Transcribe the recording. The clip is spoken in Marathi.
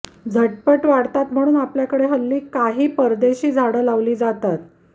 झटपट वाढतात म्हणून आपल्याकडे हल्ली काही परदेशी झाडं लावली जातात